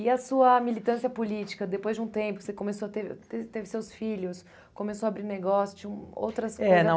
E a sua militância política, depois de um tempo, você começou a ter ter teve seus filhos, começou a abrir negócio, tinha outras coi... é, não.